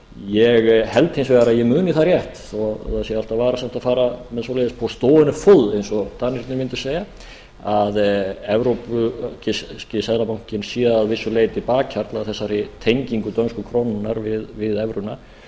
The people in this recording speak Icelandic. ég held hins vegar að ég muni það rétt þó það sé alltaf varasamt að fara með svoleiðis á stående fod eins og danirnir mundu segja að evrópski seðlabankinn sé að vissu leyti bakhjarl að þessari tengingu dönsku krónunnar við evruna